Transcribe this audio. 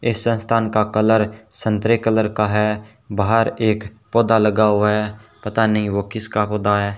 इस संस्थान का कलर संतरे कलर का है बाहर एक पौधा लगा हुआ है पता नहीं वह किसका होता है।